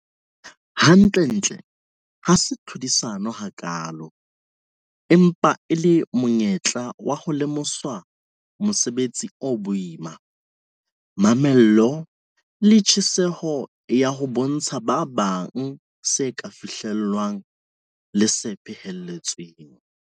Hantlentle ha se tlhodisano hakaalo empa e le monyetla wa ho lemoswa mosebetsi o boima, mamello le tjheseho ya ho bontsha ba bang se ka fihlellwang le se phehelletsweng.